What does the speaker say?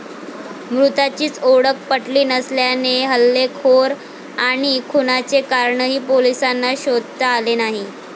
मृताचीच ओळख पटली नसल्याने हल्लेखोर आणि खुनाचे कारणही पोलिसांना शोधता आले नाही.